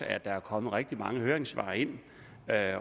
er kommet rigtig mange høringssvar ind